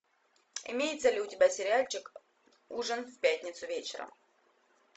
имеется ли у тебя сериальчик ужин в пятницу вечером